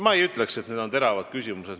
Ma ei ütleks, et need on teravad küsimused.